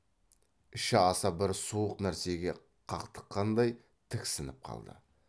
іші аса бір суық нәрсеге қақтыққандай тіксініп қалды